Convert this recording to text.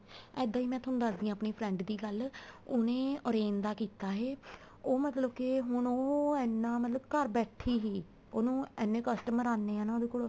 ਇੱਦਾਂ ਹੀ ਮੈਂ ਤੁਹਾਨੂੰ ਦੱਸਦੀ ਆ friend ਦੀ ਗੱਲ ਉਹਨੇ orange ਦਾ ਕੀਤਾ ਏ ਉਹ ਮਤਲਬ ਕੇ ਹੁਣ ਮਤਲਬ ਐਨਾ ਘਰ ਬੈਠੇ ਹੀ ਉਹਨੂੰ ਐਨੇ customer ਆਨੇ ਹੈ ਉਹਦੇ ਕੋਲ